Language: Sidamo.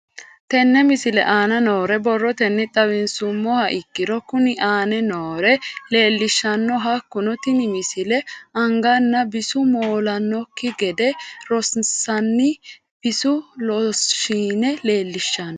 Tenne misile aana noore borrotenni xawisummoha ikirro kunni aane noore leelishano. Hakunno tinni misile anganna bisu moolanokki gede horonsinanni bisu looshine leelishshano.